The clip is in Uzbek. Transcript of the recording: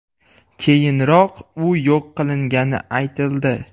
Keyinroq u yo‘q qilingani aytildi.